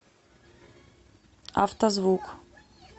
автозвук